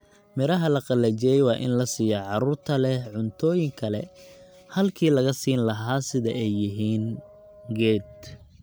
Miraha la qalajiyey waa in la siiyaa carruurta leh cuntooyin kale halkii laga siin lahaa sida ay yihiin, geed